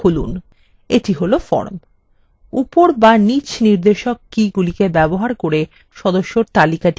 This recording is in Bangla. উপর বা নিচ নির্দেশক তীর কীগুলি ব্যবহার করে সদস্যদের তালিকাটি সম্পূর্ণ দেখা যেতে পারে